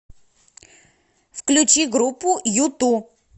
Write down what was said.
включи группу юту